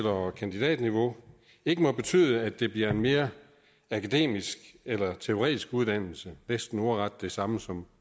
og kandidatniveau ikke må betyde at det bliver en mere akademisk eller teoretisk uddannelse næsten ordret det samme som